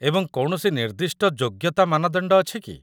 ଏବଂ କୌଣସି ନିର୍ଦ୍ଦିଷ୍ଟ ଯୋଗ୍ୟତା ମାନଦଣ୍ଡ ଅଛି କି?